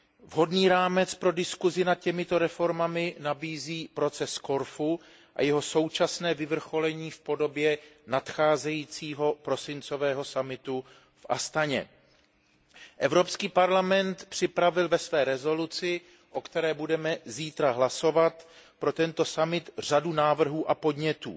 Vhodný rámec pro diskuzi nad těmito reformami nabízí proces z Korfu a jeho současné vyvrcholení v podobě nadcházejícího prosincového summitu v Astaně. Evropský parlament připravil ve svém usnesení, o kterém budeme zítra hlasovat, pro tento summit řadu návrhů a podnětů.